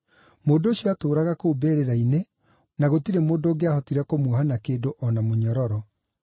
Mũndũ ũcio aatũũraga kũu mbĩrĩra-inĩ, na gũtirĩ mũndũ ũngĩahotire kũmuoha na kĩndũ, o na mũnyororo.